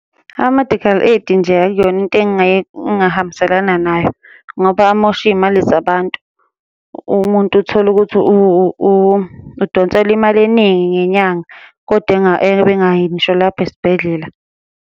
Ama-medical aid nje akuyona into engingahambiselana nayo, ngoba amosha iy'mali zabantu. Umuntu uthole ukuthi udonselwa imali eningi ngenyanga, kodwa ebe engayi ngisho lapho esibhedlela.